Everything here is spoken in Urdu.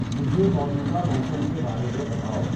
مجھے موجودہ موسم کے بارے میں بتائو